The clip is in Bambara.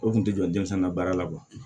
O kun tɛ jɔ denmisɛnnin na baara la